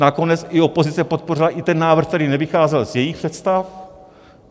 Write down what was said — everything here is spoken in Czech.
Nakonec i opozice podpořila i ten návrh, který nevycházel z jejích představ.